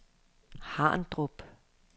Harndrup